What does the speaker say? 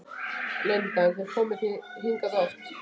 Linda: En komið þið hingað oft?